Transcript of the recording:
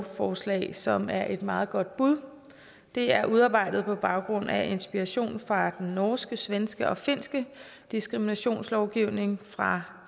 forslag som er et meget godt bud det er udarbejdet på baggrund af inspiration fra den norske svenske og finske diskriminationslovgivning fra